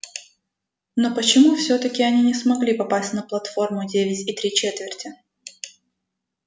но почему всё-таки они не смогли попасть на платформу девять и три четверти